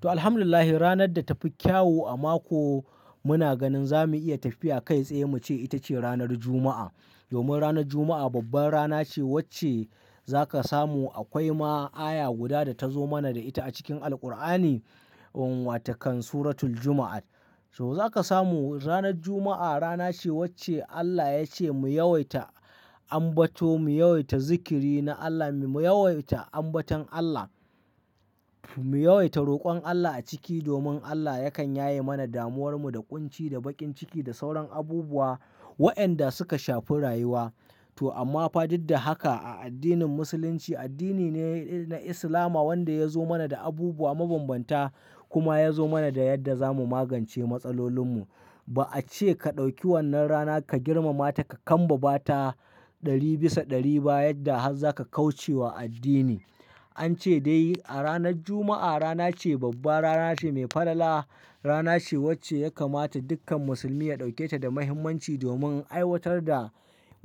To, Alhamdulillah, ranar da ta fi kyawu a mako muna ganin za mu iya tafiya kai tsaye muke ce ita ce ranar Juma'a. Domin ranar Juma'a babbar rana ce wacce za ka samu akwai ma aya guda da ta zo mana da ita a cikin Alqur'ani, wato kan Suratul Juma'at. To za ka samu ranar Juma'a rana ce wacce Allah ya ce mu yawaita ambato, mu yawaita zikiri na Allah, mu yawaita ambaton Allah, mu yawaita rokon Allah a ciki domin Allah yakan yaye mana damuwarmu da ƙunci da baƙin ciki da sauran abubuwa wayanda suka shafi rayuwa. To amma fa duk da haka a addinin Musulunci, addini ne na Islama wanda ya zo mana da abubuwa mabambanta kuma ya zo mana da yadda za mu magance matsalolinmu. Ba a ce ka ɗauki wannan rana ka girmama ta ka kambaba ta ɗari bisa ɗari ba yadda har za ka kauce wa addini. An ce dai a ranar Juma'a rana ce babba, rana ce mai falala, rana ce wacce ya kamata dukkan musulmi ya ɗauke ta da muhimmanci domin aiwatar da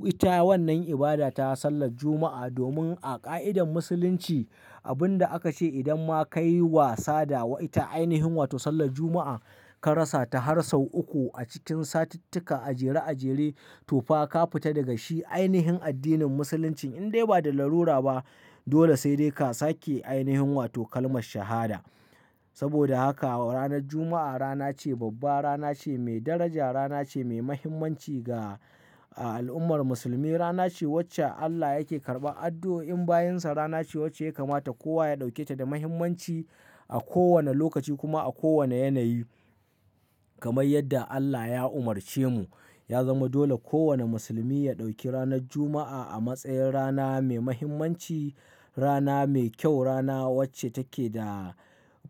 ita wannan ibada ta Sallar Juma'a. Domin a ƙa'idar Musulunci abin da aka ce idan ma ka yi wasa da wa ita ainihin wato Sallar Juma'a ka rasa ta har sau uku a cikin satittika a jere a jere to fa ka fita daga shi ainihin addinin Musulunci indai ba da larura ba. Dole sai dai ka sake ainihin wato kalmar shahada. Saboda haka ranar Juma'a rana ce babba, rana ce mai daraja, rana ce mai muhimmanci ga al'ummar musulmi, rana ce wacce Allah yake karɓan addu'o'in bayinsa, rana ce wacce ya kamata kowa ya ɗauke ta da muhimmanci a kowane lokaci kuma a kowane yanayi kamar yadda Allah ya umarce mu. Ya zama dole kowane musulmi ya ɗauki ranar Juma'a a matsayin rana mai muhimmanci, rana mai kyau, rana wacce take da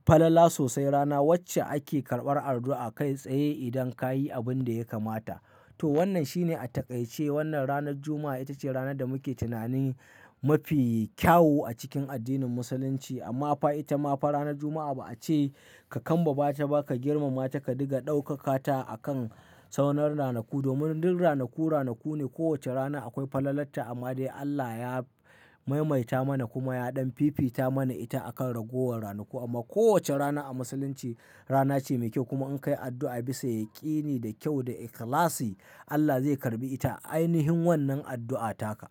falala sosai, rana wacce ake karɓar addu'a kai tsaye idan ka yi abin da ya kamata. To wannan shine a taƙaice wannan ranar Juma'a ita ce ranar da muke tunanin mafi kyau a cikin addinin Musulunci. Amma fa ita ma fa ranar Juma'a ba a ce ka kambaba ta ba ka girmama ta ka diga ɗaukaka ta a kan sauran ranaku. Domin duk ranaku ranaku ne. Kowace rana akwai falalarta amma dai Allah ya maimaita mana kuma ya ɗan fifita mana ita a kan ragowar ranaku. Amma kowace rana a Musulunci rana ce mai kyau kuma in ka yi addu'a bisa yaƙini da kyau da ikhlasi Allah zai karɓi ita ainihin wannan addu'a taka.